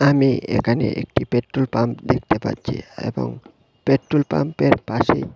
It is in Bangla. আমি একানে একটি পেট্রোল পাম্প দেখতে পাচ্ছি এবং পেট্রোল পাম্পের পাশে--